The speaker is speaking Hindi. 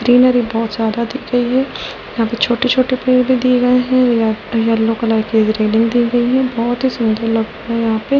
बहुत ज्यादा दिख गई है यहां पे छोटे-छोटे पैर भी दिए गए हैं येलो कलर की रेलिंग दी गई है बहुत ही सुंदर लगता है यहां पे --